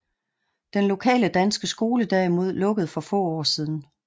Den lokale danske skole derimod lukkede for få år siden